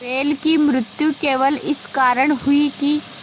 बैल की मृत्यु केवल इस कारण हुई कि